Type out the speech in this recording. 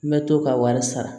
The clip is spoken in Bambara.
N bɛ to ka wari sara